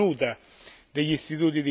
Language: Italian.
degli istituti di credito.